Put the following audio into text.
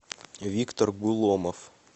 виктор гуломов